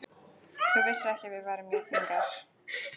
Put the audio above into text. Þú vissir ekki að við værum jafningjar.